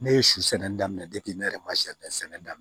Ne ye su nin daminɛ ne yɛrɛ ma sɛnɛ daminɛ